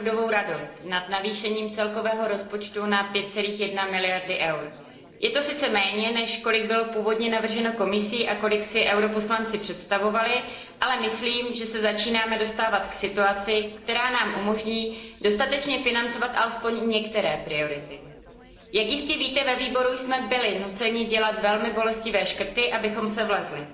Paní předsedající, nejprve mi dovolte vyjádřit opravdovou radost nad navýšením celkového rozpočtu na 5,1 miliardy EUR. Je to sice méně, než kolik bylo původně navrženo Komisí a kolik si poslanci EP představovali, ale myslím, že se začínáme dostávat k situaci, která nám umožní dostatečně financovat alespoň některé priority. Jak jistě víte, ve výboru jsme byli nuceni dělat velmi bolestivé škrty, abychom se vešli.